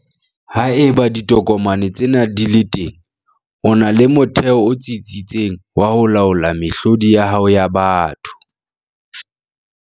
Haeba ditokomane tsena di le teng, o na le motheo o tsitsitseng wa ho laola mehlodi ya hao ya batho.